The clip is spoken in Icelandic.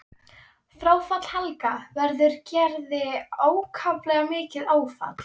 Fráfall Helga verður Gerði ákaflega mikið áfall.